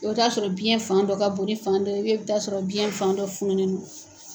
O bɛ taa sɔrɔ biyɛn fan dɔ ka bon ni fan dɔ ye i bɛ taa sɔrɔ biyɛn fan dɔ fununen do.